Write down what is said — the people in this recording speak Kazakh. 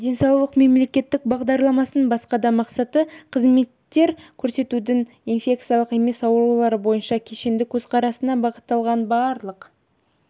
денсаулық мемлекеттік бағдарламасының басқа да мақсаты қызметтер көрсетудің инфекциялық емес аурулары бойынша кешенді көзқарасына бағытталған барлық